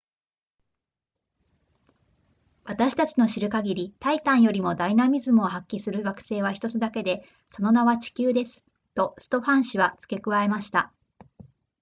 私たちの知る限りタイタンよりもダイナミズムを発揮する惑星は1つだけでその名は地球ですとストファン氏は付け加えました